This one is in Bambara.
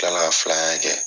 kila la ka filanan kɛ.